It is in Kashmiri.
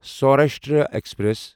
سوراشٹرا ایکسپریس